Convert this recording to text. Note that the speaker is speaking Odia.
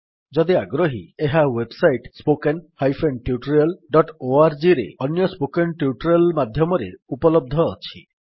ଆପଣ ଯଦି ଆଗ୍ରହୀ ଏହା ୱେବ୍ ସାଇଟ୍httpspoken tutorialorgରେ ଅନ୍ୟ ସ୍ପୋକେନ୍ ଟ୍ୟୁଟୋରିଆଲ୍ ମାଧ୍ୟମରେ ଉପଲବ୍ଧ ଅଛି